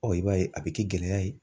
i b'a ye a bɛ kɛ gɛlɛya ye.